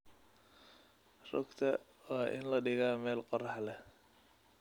Rugta waa in la dhigaa meel qorrax leh.